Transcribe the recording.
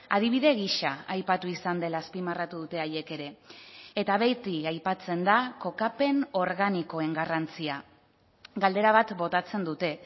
adibide gisa aipatu izan dela azpimarratu dute haiek ere eta beti aipatzen da kokapen organikoen garrantzia galdera bat botatzen dute